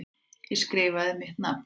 Ég skrifaði mitt nafn.